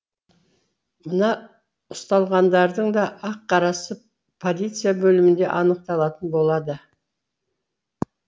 мына ұсталғандардың да ақ қарасы полиция бөлімінде анықталатын болады